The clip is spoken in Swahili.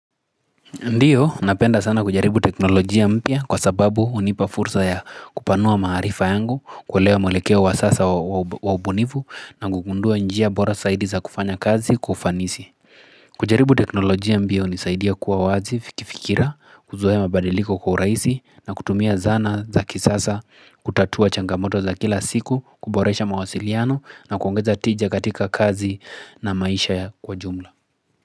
Ndiyo, napenda sana kujaribu teknolojia mpya kwa sababu hunipa fursa ya kupanua maarifa yangu, kuelewa mwelekeo wa sasa wa ubunifu na kugundua njia bora zaidi za kufanya kazi kwa ufanisi. Kujaribu teknolojia mpya hunisaidia kuwa wazi kifikira, kuzoea mabadiliko kwa urahisi na kutumia zana za kisasa kutatua changamoto za kila siku, kuboresha mawasiliano na kuongeza tija katika kazi na maisha ya kwa jumla.